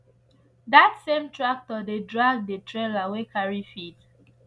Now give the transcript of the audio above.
that same tractor dey drag the trailer wey carry feed